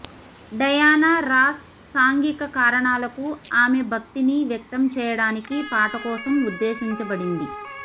Diana Ross సాంఘిక కారణాలకు ఆమె భక్తిని వ్యక్తం చేయడానికి పాట కోసం ఉద్దేశించబడింది